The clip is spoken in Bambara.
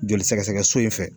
Joli sɛgɛsɛgɛ so in fɛ